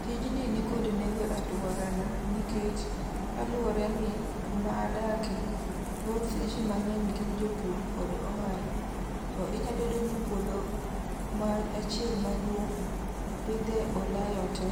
Tijni nikod nengo e alworana nikech kaluwore ni, kuma adake thoth ji mangény gin jopur kod ohala. To inyalo yudo ni puodho achiel maduong' opidhe olayo te.